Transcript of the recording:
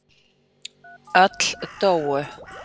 Öll dóu.